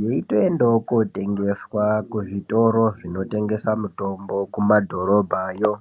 yeitoendawo kotengeswa kuzvitoro zvinongesa mitombo kumadhorobha yo.